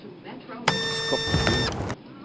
Skotbu